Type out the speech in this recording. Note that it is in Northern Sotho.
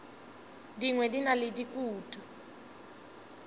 dingwe di na le dikutu